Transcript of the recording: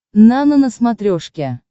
нано на смотрешке